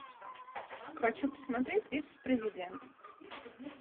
хочу посмотреть вице президент